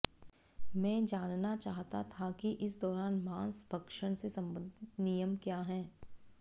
मैं जानना चाहता था कि इस दौरान मांस भक्षण से संबंधित नियम क्या हैं